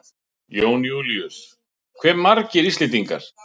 Jón Júlíus: Hve margir Íslendingar?